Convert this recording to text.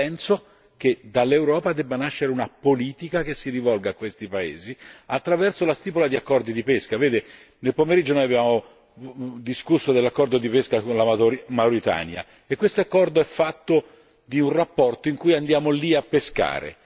Io penso che dall'Europa debba nascere una politica che si rivolga a questi paesi attraverso la stipula di accordi di pesca. Vede, nel pomeriggio noi abbiamo discusso dell'accordo di pesca sulla Mauritania e quest'accordo è fatto di un rapporto in cui andiamo lì a pescare.